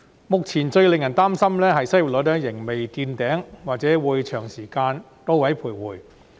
目前最令人擔心的是，失業率仍未見頂，或許會長時間在高位徘徊。